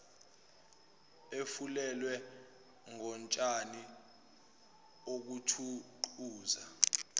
efulelwe ngotshani okuthuquzwa